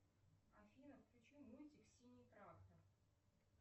афина включи мультик синий трактор